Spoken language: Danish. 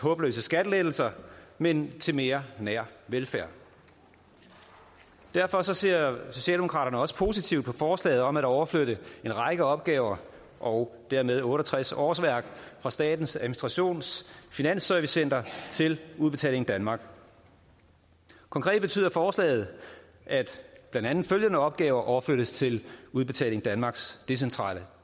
håbløse skattelettelser men til mere nær velfærd derfor ser socialdemokraterne også positivt på forslaget om at overflytte en række opgaver og dermed otte og tres årsværk fra statens administrations finansservicecenter til udbetaling danmark konkret betyder forslaget at blandt andet følgende opgaver overflyttes til udbetaling danmarks decentrale